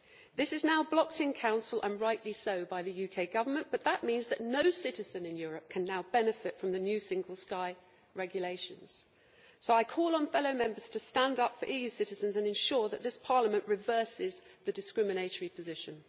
This is now blocked in Council and rightly so by the UK Government, but as a result no citizen in Europe can now benefit from the new Single European Sky regulations. So I call on fellow Members to stand up for EU citizens and ensure that this Parliament reverses the discriminatory position.